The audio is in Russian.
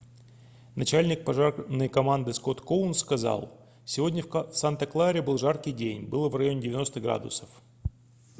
начальник пожарной команды скотт коунс сказал сегодня в санта-кларе был жаркий день было в районе 90 градусов